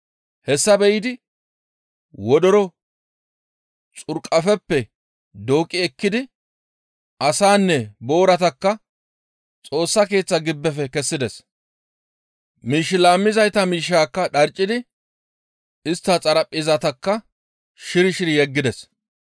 Hessa be7idi wodoro xurqafe dooqqi ekkidi asaanne booratakka Xoossa Keeththa gibbefe kessides; miish laammizayta miishshaakka dharccidi istta xaraphpheezatakka shiri shiri yeggides.